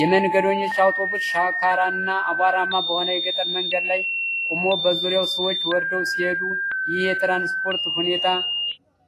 የመንገደኞች አውቶቡስ ሻካራና አቧራማ በሆነ የገጠር መንገድ ላይ ቆሞ፣ በዙሪያው ሰዎች ወርደው ሲሄዱ፣ ይህ የትራንስፖርት ሁኔታ